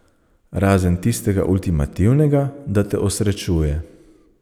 Razen tistega ultimativnega, da te osrečuje.